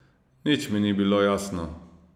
Nič mi ni bilo jasno.